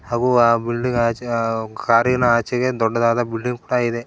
ಹಾಗೂ ಆ ಬಿಲ್ಡಿಂಗ್ ಆಚೆ ಆ- ಕಾರಿನ ಆಚೆಗೆ ದೊಡ್ಡದಾದ ಬಿಲ್ಡಿಂಗ್ ಕೂಡ ಇದೆ.